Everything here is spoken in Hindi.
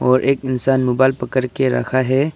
और एक इंसान मोबाइल पकड़ के रखा है।